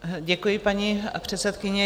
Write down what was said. Děkuji, paní předsedkyně.